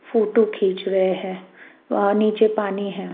Photo खींच रहे हैं वहाँ नीचे पानी है।